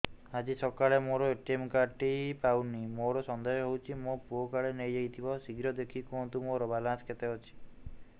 ଆଜି ସକାଳେ ମୋର ଏ.ଟି.ଏମ୍ କାର୍ଡ ଟି ପାଉନି ମୋର ସନ୍ଦେହ ହଉଚି ମୋ ପୁଅ କାଳେ ନେଇଯାଇଥିବ ଶୀଘ୍ର ଦେଖି କୁହନ୍ତୁ ମୋର ବାଲାନ୍ସ କେତେ ଅଛି